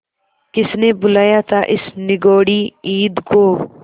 किसने बुलाया था इस निगौड़ी ईद को